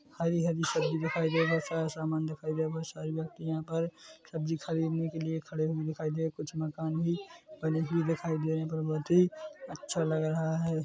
हरी - हरी सब्जी दिखाई दे रही बहोत सारा सामान दिखाई दे रहा है बहोत सारे व्यक्ति यहाँ पर सब्जी खरीदने के लिए खड़े हुए दिखाई दे कुछ मकान भी बने हुए दिखाई दे रहे है यहाँ पर बहुत ही अच्छा लग रहा हैं।